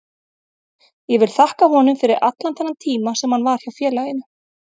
Ég vil þakka honum fyrir allan þennan tíma sem hann var hjá félaginu.